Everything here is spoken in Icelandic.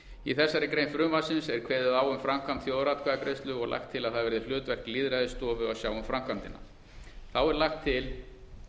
í þessari grein frumvarpsins er kveðið á um framkvæmd þjóðaratkvæðagreiðslu og lagt til að það verði hlutverk lýðræðisstofu að sjá um framkvæmdina þá er lagt til